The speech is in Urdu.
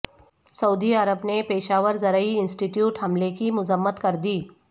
سعودی عرب نے پشاور زرعی انسٹی ٹیوٹ حملے کی مذمت کردی